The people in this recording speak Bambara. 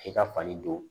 E ka fali don